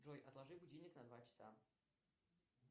джой отложи будильник на два часа